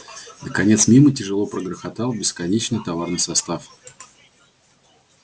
наконец мимо тяжело прогрохотал бесконечный товарный состав